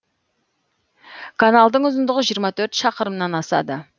каналдың ұзындығы жиырма төрт шақырымнан асады